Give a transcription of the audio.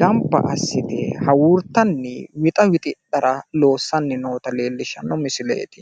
gamba assite hawuurtanni wixa wixidhara loossanni noota leellishshanno misileeti.